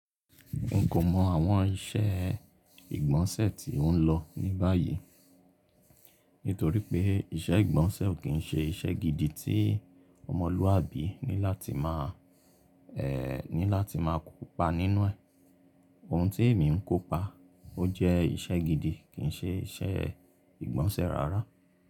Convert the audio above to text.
N kò mọ àwọn iṣẹ́ ìgbọ̀nsẹ̀ tí ó ń lọ ní báyìí. Nítorí pé iṣẹ́ ìgbọ̀nsẹ̀ ò kí ń ṣe iṣẹ́ gidi tí ọmọlúwàbí ní láti máa, ẹ́, ní láti máa kópa nínú ẹ̀. Ohun tí èmi ń kópa, ó jẹ́ iṣẹ́ gidi kì í ṣe iṣẹ́ ìgbọ̀nsẹ̀ rárá.